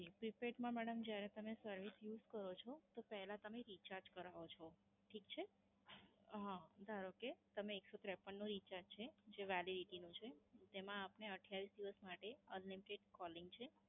prepaid માં madam જ્યારે તમે service use કરો છો તો પહેલા તમે recharge કરાવો છો. ઠીક છે. હા. ધારો કે તમે એકસો ત્રેપન નું recharge છે જે validity નું છે એમાં આપને અઠીયાવિસ દિવસ માટે unlimited calling છે.